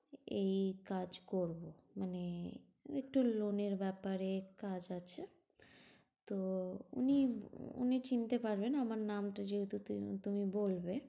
এই কাজ করবো মানে একটু loan এর ব্যাপারে কাজ আছে। তো উনি, উনি চিনতে পারবেন আমার নামটা যেহেতু তু~তুমি বলবে।